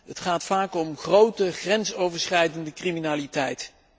het gaat vaak om de grote grensoverschrijdende criminaliteit.